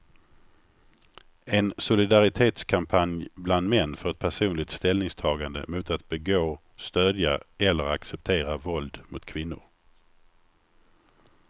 En solidaritetskampanj bland män för ett personligt ställningstagande mot att begå, stödja eller acceptera våld mot kvinnor.